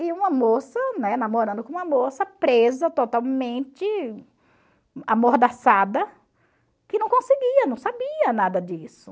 E uma moça, né, namorando com uma moça, presa totalmente, amordaçada, que não conseguia, não sabia nada disso.